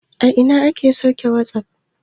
A ina ake sauke wasup?